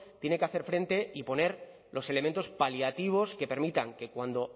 tiene que hacer frente y poner los elementos paliativos que permitan que cuando